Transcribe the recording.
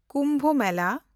ᱠᱩᱢᱵᱷ ᱢᱮᱞᱟ